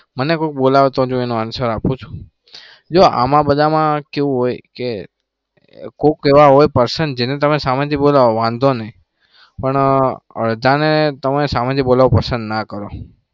મને કોઈ બોલાવે તો જ હું એનો answer આપુ છું. જો આમા બધામાં કેવું હોય કે કોઈક એવા હોય person જેને તમે સામેથી બોલાવો વાંધો નહી પણ અડધાને તમે સામેથી બોલાવો પસંદ ના કરો.